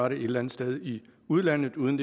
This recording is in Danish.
et eller andet sted i udlandet uden